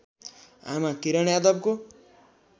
आमा किरण यादवको